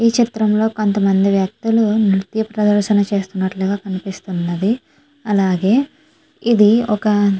దృశ్యం లో కొంతమంది వ్యక్తులు నృత్య ప్రదర్శన చేస్తునట్టుగా కనిపిస్తున్నది.అలాగే ఇది ఒక --